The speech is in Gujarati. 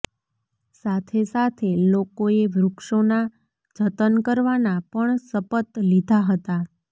સાથે સાથે લોકોએ વૃક્ષોના જતન કરવાના પણ શપત લીધા હતા